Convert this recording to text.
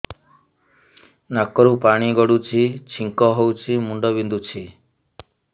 ନାକରୁ ପାଣି ଗଡୁଛି ଛିଙ୍କ ହଉଚି ମୁଣ୍ଡ ବିନ୍ଧୁଛି